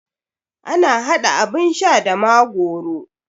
Ana haɗa abun sha da magoro